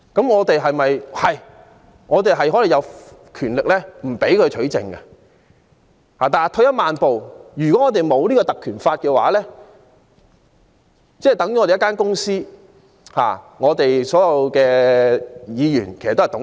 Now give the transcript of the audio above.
我們確實有權拒絕律政司取證，但退一萬步來說，如果沒有《條例》，我們便有如一間公司，而所有議員均是董事。